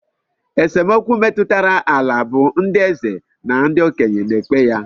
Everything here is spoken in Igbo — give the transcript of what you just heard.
Esemokwu metụtara ala bụ ndị eze na okenye na-ekpe ya